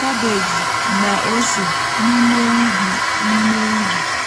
kabeeji na ose n’ime ubi. n’ime ubi.